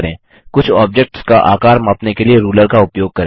कुछ ऑब्जेक्ट्स का आकार मापने के लिए रूलर का उपयोग करें